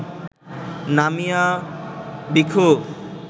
নামিয়া ভিখু